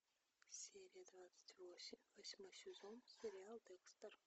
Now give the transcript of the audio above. серия двадцать восемь восьмой сезон сериал декстер